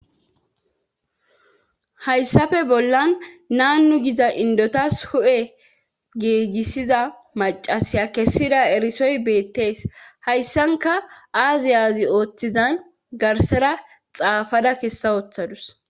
Hayssafe bollan naanu giza indotas hu7e geegissiza macasiya kessida erisoy beettees hayssanka aazi aazi ooththizan garsera xaafada kessa ooththadus